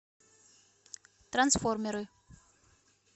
трансформеры